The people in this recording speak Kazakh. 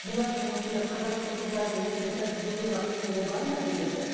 бұлардың осындай қазақтың қыздарының осындай тәртіп бұзуына құқығы бар ма негізі